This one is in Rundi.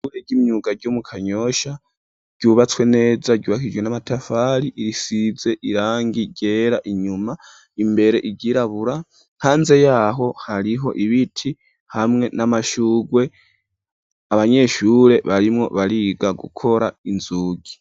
Ishure ry'imyuga ryo mu Kanyosha ryubatswe neza, ryubakishijwe n'amatafari, risize irangi ryera inyuma, imbere iryirabura. Hanze yaho hariho ibiti hamwe n'amashurwe. Abanyeshure barimwo bariga gukora inzugi.